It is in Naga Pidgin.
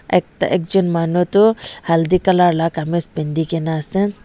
ekta ekjon manu tu haldi colour lah kameez pehendi ke na ase.